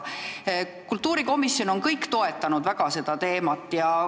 Kultuurikomisjon on seda teemat väga toetanud.